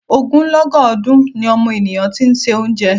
Ogunlọ́gọ̀ ọdun ni ọmọnìyàn ti ń se oúnjẹ.